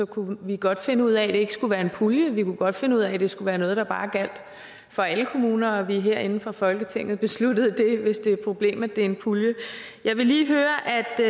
kunne vi godt finde ud af at det ikke skulle være en pulje vi kunne godt finde ud af at det skulle være noget der bare gælder for alle kommuner og at vi herinde fra folketinget beslutter det hvis det er et problem at det er en pulje jeg vil lige høre